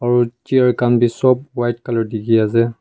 aro chair khan bhi sobh white colour dekhe ase.